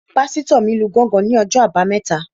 Pásítọ̀ mi lu gángan ní ọjọ́ àbámẹ́ta